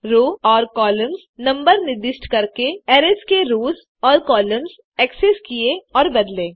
रो और column numbers निर्दिष्ट करके अरैज़ के रोस और कॉलम्स एक्सेस किये और बदले